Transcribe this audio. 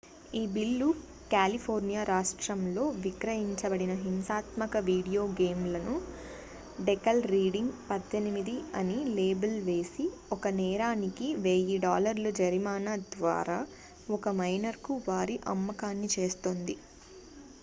"""ఈ బిల్లు కాలిఫోర్నియా రాష్ట్రంలో విక్రయించబడిన హింసాత్మక వీడియో గేమ్లను డెకల్ రీడింగ్ """18""" అని లేబుల్ వేసి ఒక నేరానికి $1000 జరిమానా ద్వారా ఒక మైనర్ కు వారి అమ్మకాన్ని చేస్తుంది.""